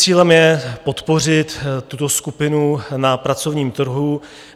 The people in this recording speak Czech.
Cílem je podpořit tuto skupinu na pracovním trhu.